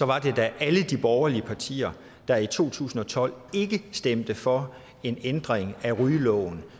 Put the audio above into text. var det da alle de borgerlige partier der i to tusind og tolv ikke stemte for en ændring af rygeloven